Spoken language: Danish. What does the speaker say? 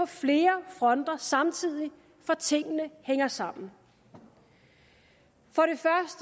flere fronter samtidig for tingene hænger sammen for